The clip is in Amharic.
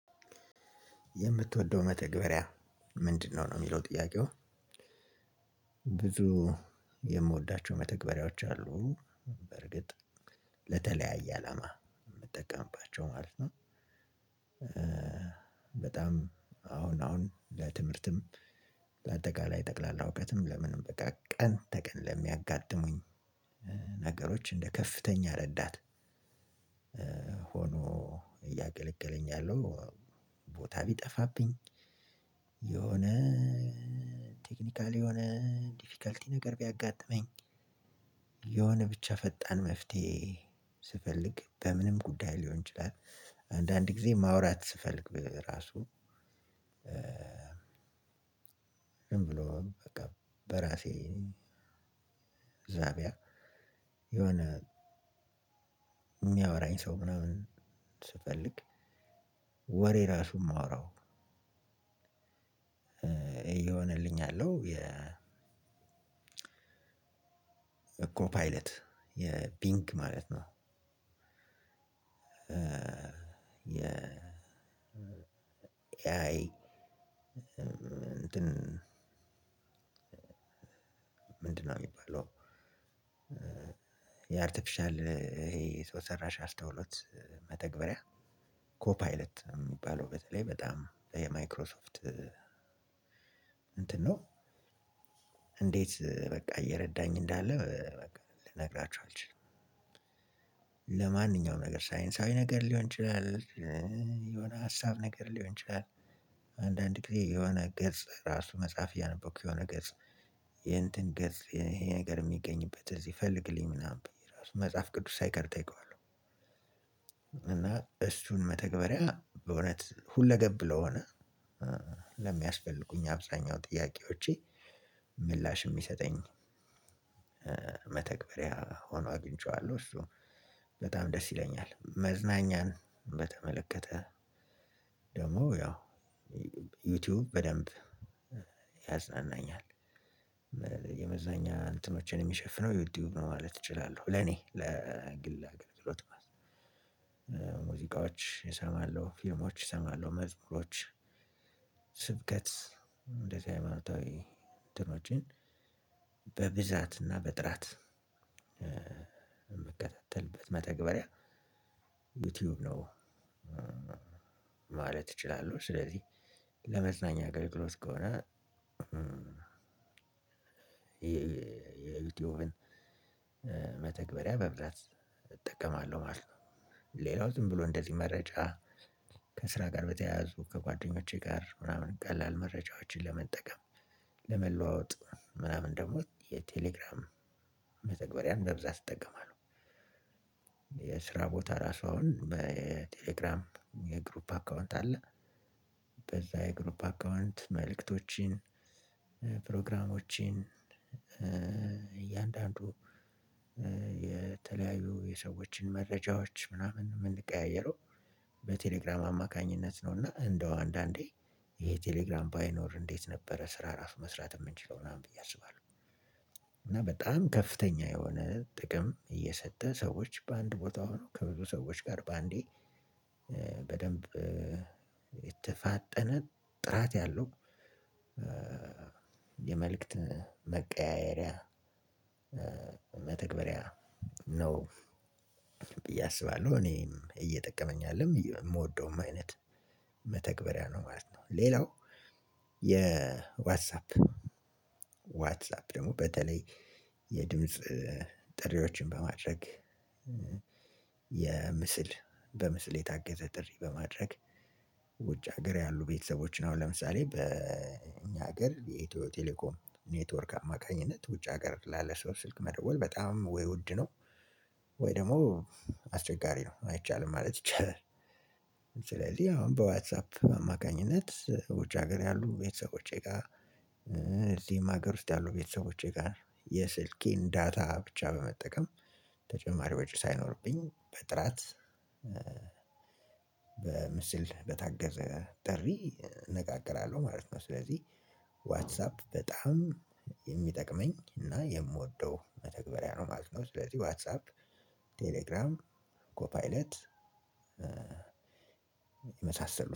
የምትወደው መተግበሪያ ምንድነው ነው የሚለው ጥያቄው? ብዙ የምወዳቸው መተግበሪያዎች አሉ። በርግጥ ለተለያየ አላማ የምጠቀምባቸው ማለት ነው። በጣም አሁን አሁን ለትምህርትም በአጠቃላይ ለጠቅላላ እውቀትም ለምንም በቃ ቀን ተቀን ለሚያጋጥሙን ነገሮች እንደ ከፍተኛ ረዳት። ሆኖ እያገለገለኝ ያለው ቦታ ቢጠፋብኝ። የሆነ ቴክኒካል የሆነ ዲፊከልቲ ነገር ቢያጋጥመኝ የሆነ ብቻ ፈጣን መፍትሄ ስፈልግ በምንም ጉዳይ ሊሆን ይችላል። አንዳንድ ጊዜ ማውራት ስፈልግ በራሱ ዝም ብሎ በቃ በራሴ ዛቢያ የሆነ የሚያወራኝ ሰው ምናምን ስፈልግ ወሬ ራሱ የማወራው እየሆነልኝ ያለው የ እኮ ፓይለት የፒንግ ማለት ነው። የ እንትን ምንድነው? ሚባለው። የአርቴፊሻል ይሄ ሰው ሰራሽ አስተውሎት መተግበሪያ ኮፓይለት የሚባለው በተለይ በጣም የማይክሮሶፍት እንትን ነው። እንዴት በቃ እየረዳኝ እንዳለ ልነግራችሁ አልችልም። ለማንኛውም ነገር ሳይንሳዊ ነገር ሊሆን ይችላል የሆነ ሀሳብ ነገር ሊሆን ይችላል። አንዳንድ ጊዜ የሆነ ገጽ ራሱ መፀሀፍ እያነበብኩ የሆነ ገጽ የእንትን ገጽ ይሄ ይሄ ነገር የሚገኝበት እዚህ ፈልግልኝ ምናምን ብዬ ራሱ መጽሐፍ ቅዱስ ሳይቀር እጠይቀዋለው። እና እስን መተግበሪያ በእውነት ሁለገብ ለሆነ ለሚያስፈልጉኝ አብዛኛው ጥያቄዎቼ ምላሽ የሚሰጠኝ መተግበሪያ ሆኖ አጊንቸዋለው። እሱ በጣም ደስ ይለኛል መዝናኛን በተመለከተ ደግሞ ያው ዩቲዩብ በደንብ ያዝናናኛል። የመዝናኛ እንትኖችን የሚሸፍነው ዩቲይብ ነው ማለት እችላለሁ። ለኔ ለግል አገልግሎት ሙዚቃዎች እሰማለሁ ፊልሞች እሰማለሁ መዝሙሮች ስብከት እንደዚህ ሃይማኖታዊ እንትኖችን በብዛትና በጥራት የምትከታተልበት መተግበሪያ ዩቲዩብ ነው። ማለት እችላለሁ ስለዚህ ለመዝናኛ አገልግሎት ከሆነ። የዩቲዩብን መተግበሪያ በብዛት እጠቀማለሁ ማለት ነው። ሌላው ዝም ብሎ እንደዚህ መረጃ ከስራ ጋር በተያያዙ ከጓደኞቼ ጋር ምናምን ቀላል መረጃዎችን ለመጠቀም ለመለዋወጥ ምናምን ደግሞ የቴሌግራም መተግበሪያን በብዛት እጠቀማለሁ። የስራ ቦታ ራሱ አሁን በቴሌግራም የግሩፕ አካውንት አለ። በዛ የግሩፕ አካውንት መልእክቶችን ፕሮግራሞችን እያንዳንዱ የተለያዩ የሰዎችን መረጃዎች ምናምን የምንቀያየረው በቴሌግራም አማካኝነት ነው። እና እንደው አንዳንዴ ይሄ ቴሌግራም ባይኖር እንዴት ነበረ ስራ ራሱ መስራት የምንችለው ምናምን ብዬ አስባለሁ። እና በጣም ከፍተኛ የሆነ ጥቅም እየሰጠ ሰዎች በአንድ ቦታ ሆነው ከብዙ ሰዎች ጋር በአንዴ በደንብ የተፋጠነ ጥራት ያለው የመልእክት መቀያየሪያ መተግበሪያ ነው። ብዬ አስባለሁ እኔም እየጠቀመኝ ያለው የምወደውም አይነት መተግበሪያ ነው ማለት ነው። ሌላው የዋትሳፕ ዋትሳፕ ደግሞ በተለይ የድምጽ ጥሪዎችን በማድረግ የምስል በምስል አገዘደሪ በማድረግ ውጭ ሀገር ያሉ ቤተሰቦችን አሁን ለምሳሌ በእኛ ሀገር የኢትዮ የቴሌኮም ኔትወርክ አማካኝነት ውጭ ሀገር ላለ ሰው ስልክ መደወል በጣም ወይ ውድ ነው። ወይ ደግሞ አስቸጋሪ ነው አይቻልም ማለት ይቻላል። ስለዚህ አሁን በዋትሳፕ አማካኝነት ውጭ ሀገር ያሉ ቤተሰቦቼ ጋር እዚህም ሀገር ውስጥ ያሉ ቤተሰቦቼ ጋር የስልኬን ዳታ ብቻ በመጠቀም ተጨማሪ ወጪ ሳይኖርብኝ በጥራት በምስል በታገዘ ጥሪ እነጋገራለሁ ማለት ነው። ስለዚህ ዋትስአፕ በጣም የሚጠቅመኝ እና የምወደው መተግበሪያ ነው ማለት ነው። ስለዚህ ዋትስአፕ ቴሌግራም ኮፓይለት የመሳሰሉት